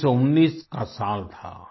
1919 का साल था